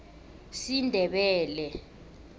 sindebele